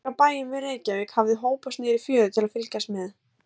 Fólk af bæjum við Reykjavík hafði hópast niður í fjöru til þess að fylgjast með.